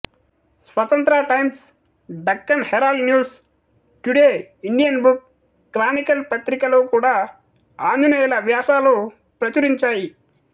స్వతంత్ర Times Deccan Herald News Today Indian Book Chronicle పత్రికలు కూడా ఆంజనేయులు వ్యాసాలు ప్రచురించాయి